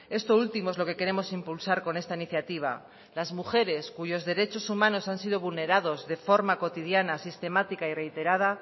esto último es lo que queremos impulsar con esta iniciativa las mujeres cuyos derechos humanos han sido vulnerados de forma cotidiana sistemática y reiterada